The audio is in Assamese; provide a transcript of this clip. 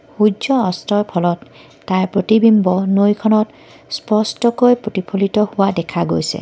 সূৰ্য অস্তৰ ফলত তাৰ প্ৰতিবিম্ব নৈখনত স্পষ্টকৈ প্ৰতিফলিত হোৱা দেখা গৈছে।